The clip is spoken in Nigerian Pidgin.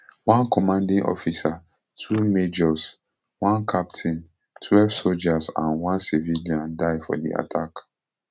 one commanding officer two majors one captain twelve sojas and one civilian die for di attack